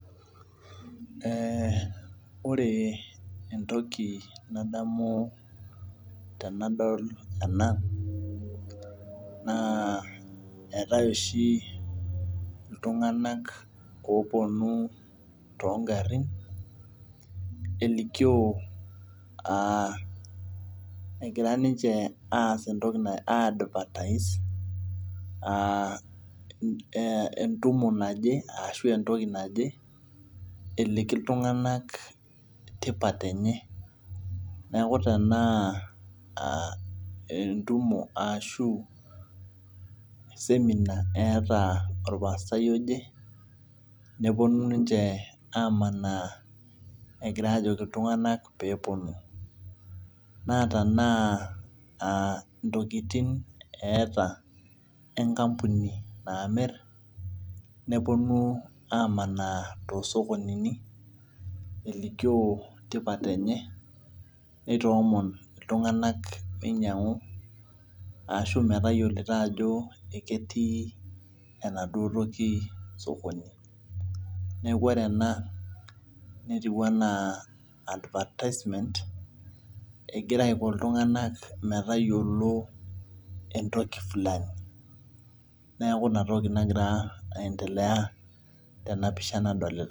Ee ore entoki nadamu tenadol ena na etae oshi ltunganak oponu tongarin elikio na egira ninye aas entoki naje, entumo naje eliki ltunganak tipat enye neaku tanaa entumo ashu seminar eeta orpastai oje neponu ninche amanaa egira ajoki ltunganak peponu na tanaa ntokitin eata enkampuni namir neponu amanaa tosokoninini elikio tipat enye nitoomon ltunganak meinyangu ashu metayiolito ajo ketii enaduo toki osokoni netiu ana advisement egira ako ltunganak metayiolo neaku inatoki nagira aendelea tenapisha.